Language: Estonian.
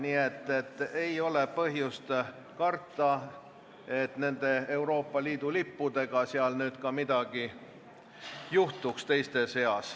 Nii et ei ole põhjust karta, et nende Euroopa Liidu lippudega teiste seas midagi juhtub.